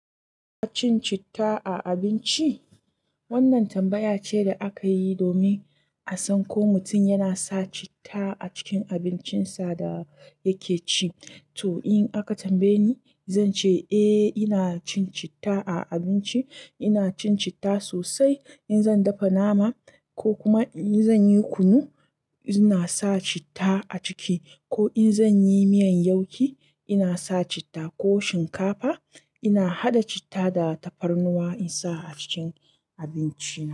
Ka cin citta a abinci? Wannan tambaya ce da akayi domin a san ko mutum yana sa citta a cikin abincinsa da yake ci. To in aka tambaye ni, zance eh ina cin citta a abinci. Ina cin citta sosai. In zan dafa nama ko kuma in zanyi kunu, ina sa citta a ciki ko in zanyi miyan yauki ina sa citta ko shinkafa ina haɗa citta da tafarnuwa in sa a cikin abinci.